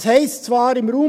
Es heisst zwar im RPG: